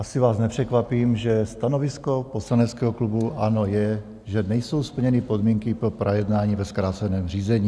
Asi vás nepřekvapím, že stanovisko poslaneckého klubu ANO je, že nejsou splněny podmínky pro projednání ve zkráceném řízení.